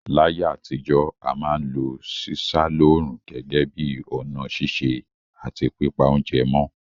Láyé àtijọ́, a ma n lo sísá lóòrùn gẹ́gẹ́ bi ọ̀nà sise àti pípa ounje mó